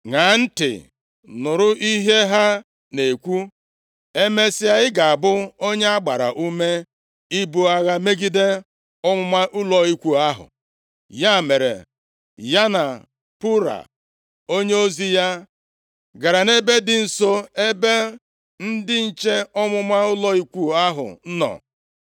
ṅaa ntị, nụrụ ihe ha na-ekwu. Emesịa, ị ga-abụ onye a gbara ume ibu agha megide ọmụma ụlọ ikwu ahụ.” Ya mere, ya na Pura onyeozi ya gara nʼebe dị nso, nʼebe ndị nche ọmụma ụlọ ikwu ahụ nọ.